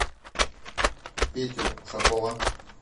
петю ушакова